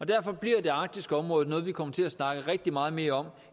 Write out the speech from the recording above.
derfor bliver det arktiske område noget vi kommer til at snakke rigtig meget mere om